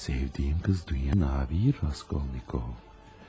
Sevdiyim qız dünyada bir Raskolnikov.